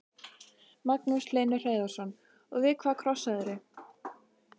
Magnús Hlynur Hreiðarsson: Og við hvað krossaðirðu?